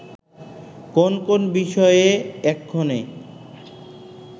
কোন কোন বিষয়ে এক্ষণে